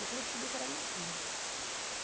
Depois eu descobri que era mentira.